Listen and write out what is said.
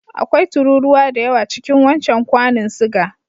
Akwai tururuwa da yawa cikin wancan kwanun suga.